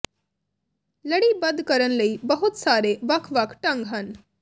ਲੜੀਬੱਧ ਕਰਨ ਲਈ ਬਹੁਤ ਸਾਰੇ ਵੱਖ ਵੱਖ ਢੰਗ ਹਨ